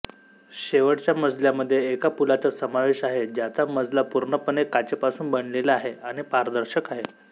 शेवटच्या मजल्यामध्ये एका पुलाचा समावेश आहे ज्याचा मजला पूर्णपणे काचेपासून बनलेला आहे आणि पारदर्शक आहे